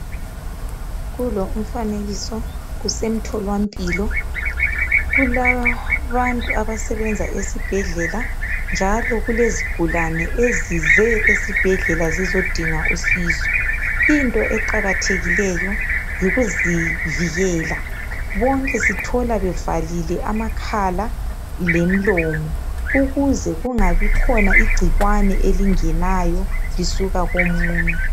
Kulo umfanekiso kusemtholampilo. Kulabantu abasebenza esibhedlela njalo kulezigulane ezize esibhedlela zizodinga usizo. Into eqakathekileyo yikuzivikela. Bonke sithola bevalile amakhala lemilomo ukuze kungabikhona igcikwane elingenayo lisuka komunye.